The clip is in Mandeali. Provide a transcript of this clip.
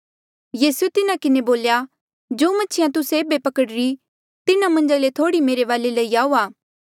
यीसूए तिन्हा किन्हें बोल्या जो मछिया तुस्से एेबे पकड़ीरी तिन्हा मन्झा ले थोह्ड़ी मेरे वाले लई आऊआ